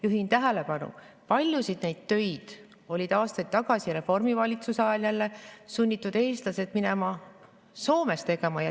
Juhin tähelepanu, et paljusid neid töid olid aastaid tagasi Reformierakonna valitsemisajal sunnitud eestlased minema Soome tegema.